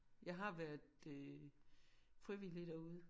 Jeg har været øh frivillig derude